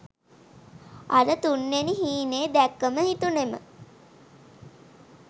අර තුන් වෙනි හීනේ දැක්කම හිතුනෙම